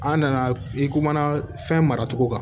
An nana i kuma na fɛn mara cogo kan